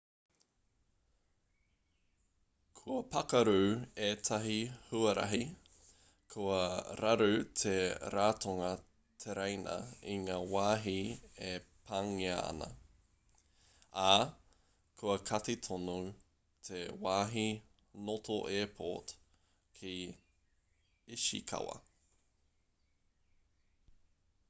kua pakaru ētahi huarahi kua raru te ratonga tereina i ngā wāhi e pāngia ana ā kua kati tonu te wāhi noto airport ki ishikawa